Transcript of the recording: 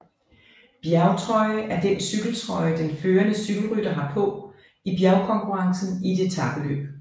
Bjergtrøje er den cykeltrøje den førende cykelrytter har på i bjergkonkurrencen i et etapeløb